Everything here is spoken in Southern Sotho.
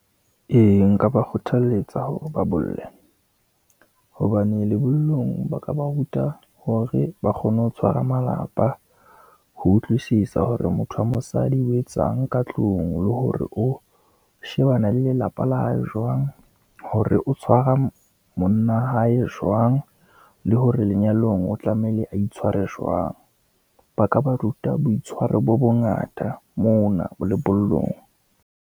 E, nka ba kgothaletsa hore ba bolle, hobane lebollong ba ka ba ruta hore ba kgone ho tshwara malapa, ho utlwisisa hore motho wa mosadi o etsang ka tlung, le hore o shebana le lelapa la hae jwang, hore o tshwara monna wa hae jwang, le hore lenyalong o tlamehile a itshware jwang. Ba ka ba ruta boitshwaro bo bongata mona lebollong.